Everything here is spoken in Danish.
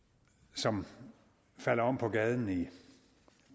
som falder om på gaden i